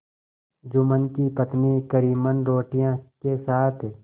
जुम्मन की पत्नी करीमन रोटियों के साथ